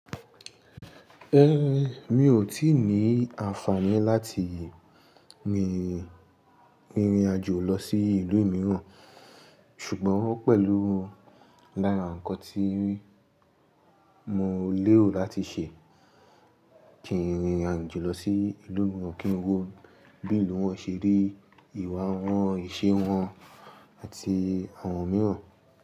Ẹn, mi ò tíì ní àǹfààní láti mi rin ìrìnàjò lọ sí ìlú mìíràn, ṣùgbọ́n pẹ̀lú lára nǹkan tí mò le ro láti ṣe ni ìrìnàjò lọ sí ìlú mìíràn kí n wo bí ìlú wọn ṣe rí, ìwà wọn, ìṣe wọn àti àwọn mìíràn.